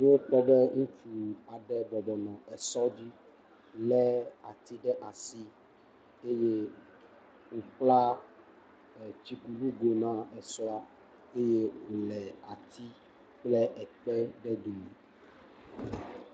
Miakpɔ be ŋutsu aɖe bɔbɔnɔ esɔ dzi le ati ɖe asi. Eye wobla tsikunugoe na esɔa eye wole ati kple ekpe ɖe dome.